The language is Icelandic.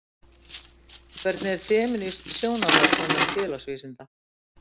Hvernig er femínískt sjónarhorn innan félagsvísinda?